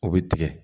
O bɛ tigɛ